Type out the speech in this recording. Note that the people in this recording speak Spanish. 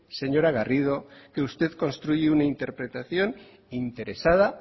señora garrido que usted construye una interpretación interesada